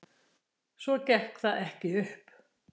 Svo gekk það ekki upp.